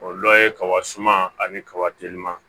O dɔ ye kaba suman ani kaba telima